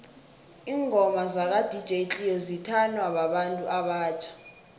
ingoma zaka dj cleo zithanwa babantu abatjha